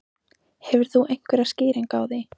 Hefur þú einhverja skýringu á því?